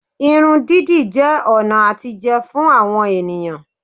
Irun dídì jẹ́ ọ̀nà àtijẹ fún àwọn ènìyàn